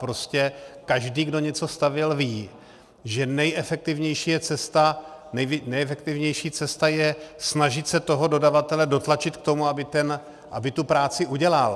Prostě každý, kdo něco stavěl, ví, že nejefektivnější cesta je snažit se toho dodavatele dotlačit k tomu, aby tu práci udělal.